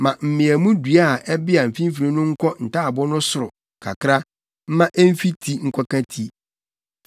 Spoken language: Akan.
Ma mmeamu dua a ɛbea mfimfini no nkɔ ntaaboo no soro kakra mma emfi ti nkɔka ti.